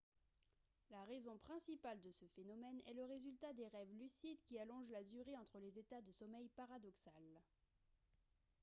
la raison principale de ce phénomène est le résultat des rêves lucides qui allongent la durée entre les états de sommeil paradoxal